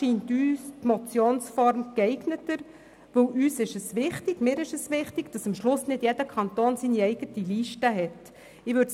Hier ist die Form einer Motion geeigneter, denn es ist wichtig, dass schlussendlich nicht jeder Kanton über eine eigene Liste verfügt.